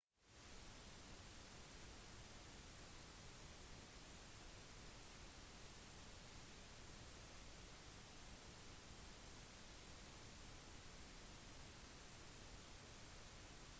vannmolekyler lager en usynlig film på vannflaten som gjør at ting som f.eks nålen kan flyte på toppen av vannet